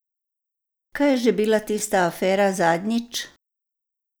Kaj je že bila tista afera zadnjič?